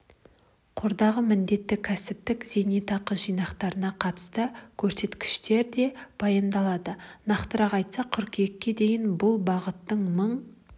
қордағы міндетті кәсіптік зейнетақы жинақтарына қатысты көрсеткіштер де баяндалды нақтырақ айтсақ қыркүйекке дейін бұл бағытта мың